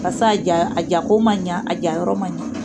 Barisa a ja ko ma ɲɛ, a ja yɔrɔ ma ɲɛ.